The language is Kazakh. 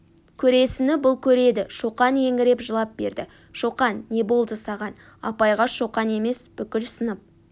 көресіні бұл көреді шоқан еңіреп жылап берді шоқан не болды саған апайға шоқан емес бүкіл сынып